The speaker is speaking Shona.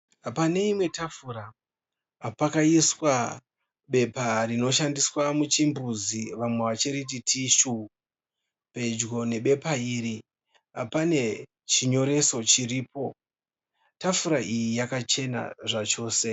Pane imwe tafura pakaiswa bepa rinoshandiswa muchimbuzi vamwe vachiriti tishu. Pedyo nebepa iri pane chinyoreso chiripo. Tafura iyi yakachena zvachose.